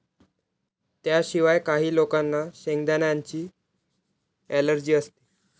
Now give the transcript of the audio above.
त्याशिवाय, काही लोकांना शेंगदाण्यांची अलर्जी असते.